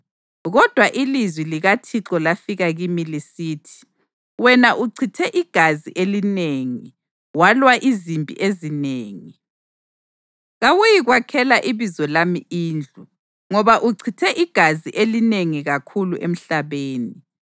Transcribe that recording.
Kodwa ilizwi likaThixo lafika kimi lisithi: ‘Wena uchithe igazi elinengi, walwa izimpi ezinengi. Kawuyikwakhela iBizo lami indlu, ngoba uchithe igazi elinengi kakhulu emhlabeni.